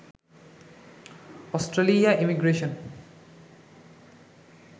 Australia immigration